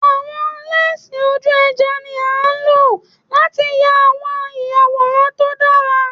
Awọn lẹnsi oju-ẹja ni a lo lati ya awọn iyaworan to dara